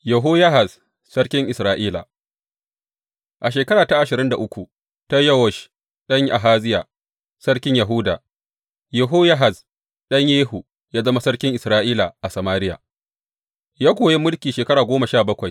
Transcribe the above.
Yehoyahaz sarkin Isra’ila A shekara ta ashirin da uku ta Yowash ɗan Ahaziya, sarkin Yahuda, Yehoyahaz ɗan Yehu, ya zama sarkin Isra’ila a Samariya, ya kuwa yi mulki shekaru goma sha bakwai.